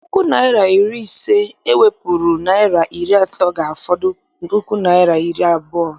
Puku naịra na iri ise e wepụrụ naịra iri atọ ga-afọdụ puku naịra na iri abụọ.